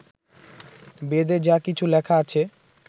বেদে যা কিছু লেখা আছে